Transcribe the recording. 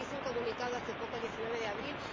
Hizo un comunicado hace poco, el 19 de abril.